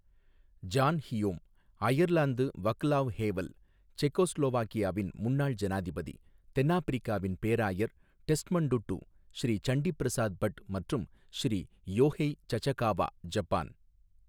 John Hume, Ireland Vaclav Havel, செக்கோஸ்லோவாக்கியாவின் முன்னாள் ஜனாதிபதி, தென்னாப்பிரிக்காவின் பேராயர் டெஸ்மண்ட்டுட்டு, ஸ்ரீ சண்டி பிரசாத் பட் மற்றும் ஸ்ரீ யோஹெய் சசகாவா, ஜப்பான்.